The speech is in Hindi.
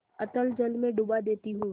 अतल जल में डुबा देती हूँ